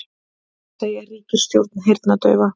Segja ríkisstjórn heyrnardaufa